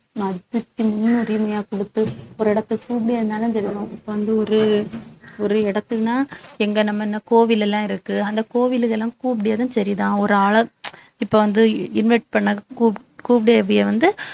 மதிச்சு முன்னுரிமையா கொடுத்து ஒரு இடத்தை இப்ப வந்து ஒரு ஒரு இடத்துலதான் எங்க நம்ம இன்னும் கோவில் எல்லாம் இருக்கு அந்த கோவில் இதெல்லாம் கூப்பிடியதும் சரிதான் ஒரு ஆள இப்ப வந்து invite பண்ண கூப்~ கூப்பிடியதும் வந்து